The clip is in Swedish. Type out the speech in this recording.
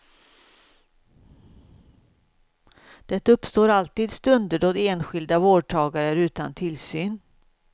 Det uppstår alltid stunder då enskilda vårdtagare är utan tillsyn.